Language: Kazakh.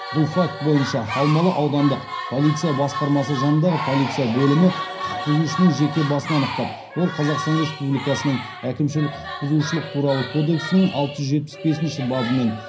бұл факт бойынша алмалы аудандық полиция басқармасы жанындағы полиция бөлімі құқық бұзушының жеке басын анықтап ол қазақстан республикасының әкімшілік құқық бұзушылық туралы кодексінің алты жүз жетпіс бесінші бабымен